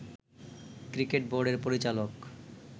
cricket বোর্ডের পরিচালক